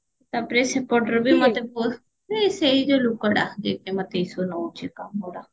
ତାପରେ ସେପଟରେ ବି ମତେ ସେଇ ଯୋଉ ଲୋକଟା ଯିଏ କି ମତେ ଏକା ପୁରା